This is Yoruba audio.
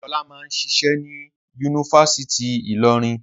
Ọlá máà ń ṣiṣẹ́ ní Yunifásítì Ìlọrin?